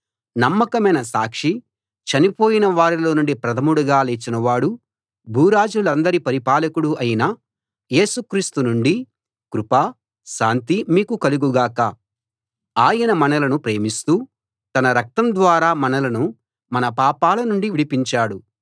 నమ్మకమైన సాక్షీ చనిపోయిన వారిలో నుండి ప్రథముడిగా లేచిన వాడూ భూరాజులందరి పరిపాలకుడూ అయిన యేసు క్రీస్తు నుండీ కృపా శాంతీ మీకు కలుగు గాక ఆయన మనలను ప్రేమిస్తూ తన రక్తం ద్వారా మనలను మన పాపాల నుండి విడిపించాడు